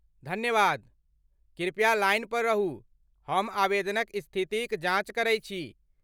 धन्यवाद, कृपया लाइन पर रहू, हम आवेदनक स्थितिक जाँच करै छी।